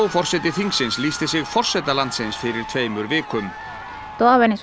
forseti þingsins lýsti sig forseta landsins fyrir tveimur vikum